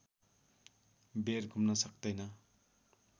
बेर घुम्न सक्तैन